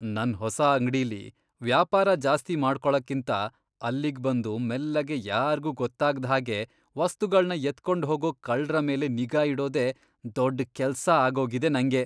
ನನ್ ಹೊಸ ಅಂಗ್ಡಿಲಿ ವ್ಯಾಪಾರ ಜಾಸ್ತಿ ಮಾಡ್ಕೊಳಕ್ಕಿಂತ ಅಲ್ಲಿಗ್ ಬಂದು ಮೆಲ್ಲಗೆ ಯಾರ್ಗೂ ಗೊತ್ತಾಗ್ದ್ ಹಾಗೆ ವಸ್ತುಗಳ್ನ ಎತ್ಕೊಂಡ್ಹೋಗೋ ಕಳ್ರ ಮೇಲೆ ನಿಗಾ ಇಡೋದೇ ದೊಡ್ ಕೆಲ್ಸ ಆಗೋಗಿದೆ ನಂಗೆ.